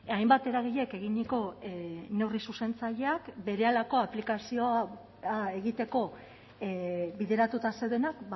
hainbat eragilek eginiko neurri zuzentzaileak berehalako aplikazioa egiteko bideratuta zeudenak